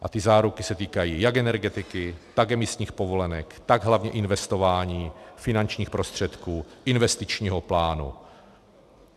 A ty záruky se týkají jak Energetiky, tak emisních povolenek, tak hlavně investování finančních prostředků, investičního plánu.